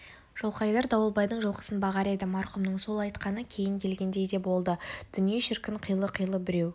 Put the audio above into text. жылқайдар дауылбайдың жылқысын бағар еді марқұмның сол айтқаны кейін келгендей де болды дүние шіркін қилы-қилы біреу